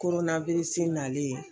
nalen